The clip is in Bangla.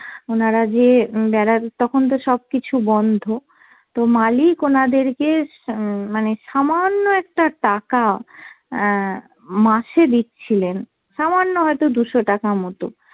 ওনারা যে উম বেরার তখন তো সব কিছু বন্ধ, তো মালিক ওনাদেরকে উম মানে সামান্য একটা টাকা অ্যাঁ মাসে দিচ্ছিলেন। সামান্য হয়তো দুশো টাকা মতো।